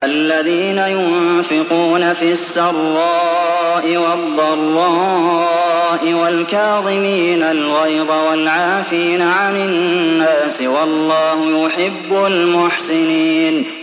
الَّذِينَ يُنفِقُونَ فِي السَّرَّاءِ وَالضَّرَّاءِ وَالْكَاظِمِينَ الْغَيْظَ وَالْعَافِينَ عَنِ النَّاسِ ۗ وَاللَّهُ يُحِبُّ الْمُحْسِنِينَ